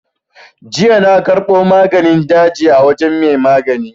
Jiya na karɓo maganin daji a wajen mai maganin.